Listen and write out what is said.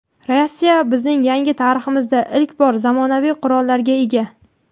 Rossiya bizning yangi tariximizda ilk bor zamonaviy qurollarga ega.